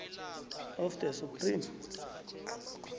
of the supreme